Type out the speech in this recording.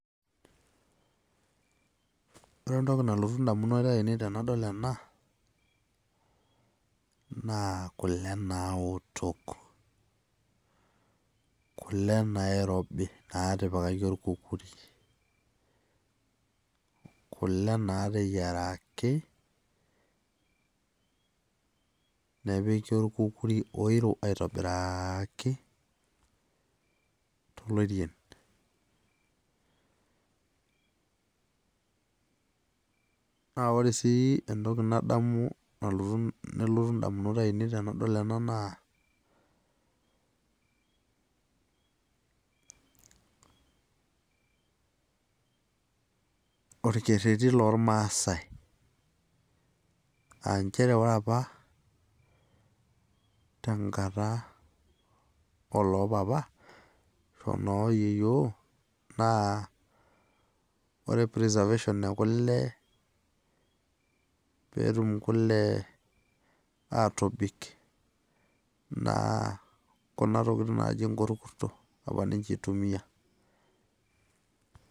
Ore entoki nalotu indamunot ainei tenadol ena, naa kule naotok. Kule nairobi natipikaki orkukuri. Kule nateyiaraki, nepiki orkukuri oiro aitobiraki, tolorien. Na ore si entoki nadamu nelotu indamunot ainei tenadol ena naa, orkerrerri lormasai. Ah njere ore apa, tenkata olopapa, ashu ono yieyio, naa ore preservation ekule, petum kule atobik, naa kuna tokiting naji nkukurso, apa ninche itumia.